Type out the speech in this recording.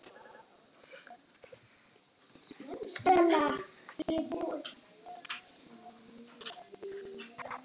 Nefndin hefur skilað áliti.